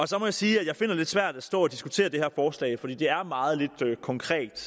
så må jeg sige at jeg finder det svært at stå og diskutere det her forslag fordi det er meget lidt konkret